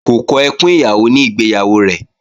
Kò kọ ẹkùn ìyàwó ní ìgbéyàwó rẹ̀